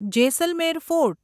Jaisalmer fort